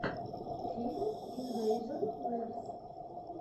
фильм инвэйжон лэбс